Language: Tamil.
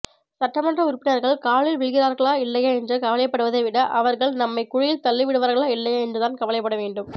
சட்டமன்ற உறுப்பினர்கள் காலில் விழுகிறார்களா இல்லையா என்று கவலைப்படுவதைவிட அவர்கள் நம்மை குழியில் தள்ளிவிடுவார்களா இல்லையா என்றுதான் கவலைப்படவேண்டும்